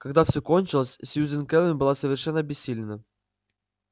когда всё кончилось сьюзен кэлвин была совершенно обессилена